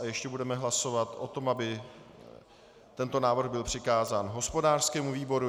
A ještě budeme hlasovat o tom, aby tento návrh byl přikázán hospodářskému výboru.